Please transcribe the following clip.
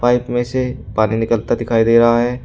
में से पानी निकलता दिखाई दे रहा है।